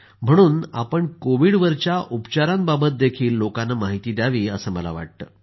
म्हणून आपण कोविडवरील उपचारांबाबतही लोकांना माहिती द्यावी असं मला वाटतं